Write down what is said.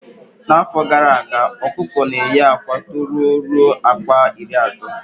Na afọ gara aga okuko na eye akwa tọrọ ruo akwa iri ato